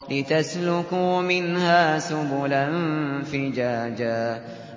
لِّتَسْلُكُوا مِنْهَا سُبُلًا فِجَاجًا